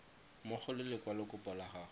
mmogo le lekwalokopo la gago